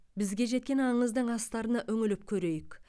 бізге жеткен аңыздың астарына үңіліп көрейік